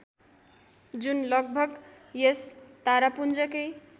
जुन लगभग यस तारापुञ्जकै